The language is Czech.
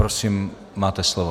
Prosím, máte slovo.